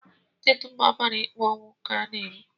Ndị dum a mara ikpe ọnwụ, ka a na-egbu